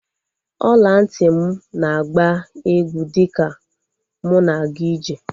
Ọla ntị m na-agba egwú dịka m na-aga ije